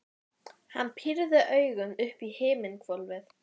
Þórhildur Þorkelsdóttir: Spennt fyrir deginum?